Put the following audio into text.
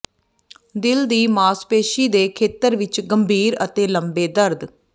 ਿਦਲ ਦੀ ਮਾਸਪੇਸ਼ੀ ਦੇ ਖੇਤਰ ਵਿੱਚ ਗੰਭੀਰ ਅਤੇ ਲੰਬੇ ਦਰਦ